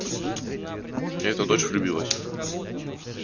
и эта дочь влюбилась